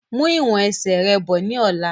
Mú ìwọ̀n ẹsẹ̀ rẹ bọ̀ ni ọ̀la!